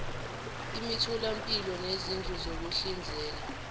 imitholampilo nezindlu zokuhlinzela